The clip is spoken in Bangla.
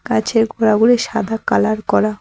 গাছের গোড়াগুলি সাদা কালার করা।